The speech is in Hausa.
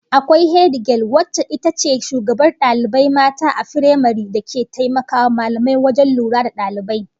Akwai hedigel wacce ita ce shugabar dalibai mata a firamare, da ke taimakawa mallamai wajen lura da dalibai